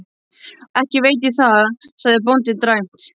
Ekki veit ég það, sagði bóndinn dræmt.